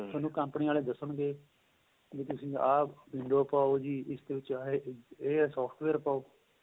ਤੁਹਾਨੂੰ ਕੰਪਨੀ ਵਾਲੇ ਦੱਸਣ ਗਏ ਵੀ ਤੁਸੀਂ ਆਂ window ਪਹਾਹੋ ਜ਼ੀ ਇਸ ਦੇ ਵਿੱਚ ਏਹ software ਪਾਉ